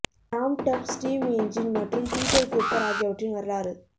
Tom Thumb steam engine மற்றும் Peter Cooper ஆகியவற்றின் வரலாறு